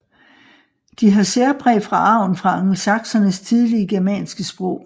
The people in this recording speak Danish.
De har særpræg fra arven fra angelsaksernes tidlige germanske sprog